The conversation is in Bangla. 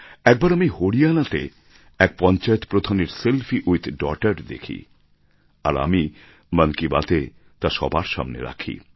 একবার আমি হরিয়ানাতে এক পঞ্চায়েত প্রধানের সেলফি উইথ ডটার দেখি আর আমি মন কি বাত এ তা সবার সামনে রাখি